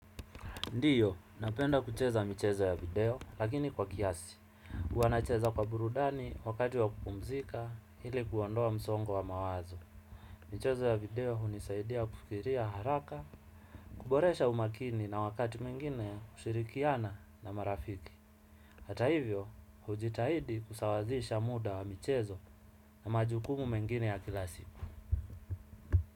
Ndio, napenda kucheza michezo ya video, lakini kwa kiasi. Huwa nacheza kwa burudani wakati wa kupumzika ili kuondoa msongo wa mawazo. Michezo ya video hunisaidia kufikiria haraka, kuboresha umakini na wakati mwingine kushirikiana na marafiki. Hata hivyo, hujitahidi kusawazisha muda wa michezo na majukumu mengine ya kila siku.